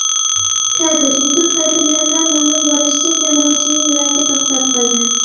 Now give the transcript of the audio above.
Kadr: YouTube Kadrlardan ma’lum bo‘lishicha, kemiruvchining yuragi to‘xtab qolgan.